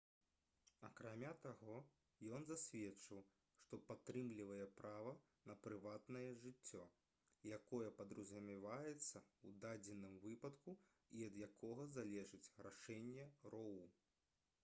акрамя таго ён засведчыў што падтрымлівае права на прыватнае жыццё якое падразумяваецца ў дадзеным выпадку і ад якога залежыць рашэнне роу